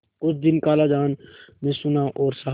कुछ दिन खालाजान ने सुना और सहा